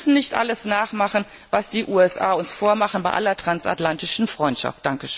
Wir müssen nicht alles nachmachen, was die USA uns vormachen, bei aller transatlantischen Freundschaft!